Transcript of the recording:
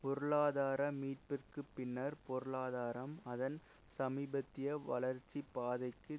பொருளாதார மீட்பிற்கு பின்னர் பொருளாதரம் அதன் சமீபத்திய வளர்ச்சி பாதைக்கு